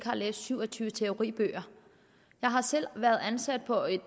har læst syv og tyve teoribøger jeg har selv været ansat på et